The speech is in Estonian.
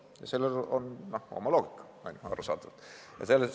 Ja selles on oma loogika, arusaadavalt.